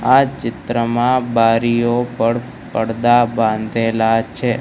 આ ચિત્રમાં બારીઓ પર પરદા બાંધેલા છે.